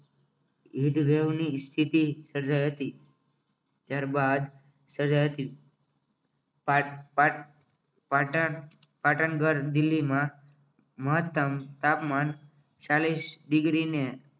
Heat wave ની સ્થિતિ સર્જાઈ હતી ત્યારબાદ સજાતી પાઠ પાટ પાટણ ઘર દિલ્હીમાં મહત્તમ તાપમાન ચાલીશ degree ને